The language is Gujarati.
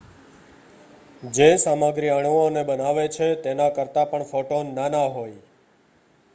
જે સામગ્રી અણુઓને બનાવે છે તેના કરતાં પણ ફોટોન નાના હોય